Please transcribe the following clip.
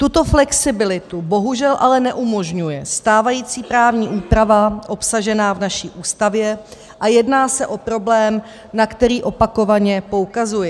Tuto flexibilitu bohužel ale neumožňuje stávající právní úprava obsažená v naší Ústavě a jedná se o problém, na který opakovaně poukazuji.